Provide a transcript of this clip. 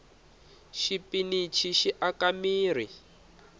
xipinichi xi aka mirhi